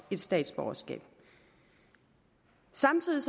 et statsborgerskab samtidig